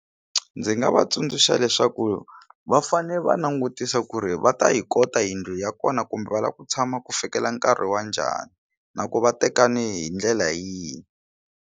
Ndzi nga va tsundzuxa leswaku va fane va langutisa ku ri va ta yi kota yindlu ya kona kumbe va lava ku tshama ku fikela nkarhi wa njhani na ku va tekane hi ndlela yihi.